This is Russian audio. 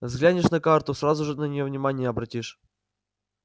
взглянешь на карту сразу же на неё внимание обратишь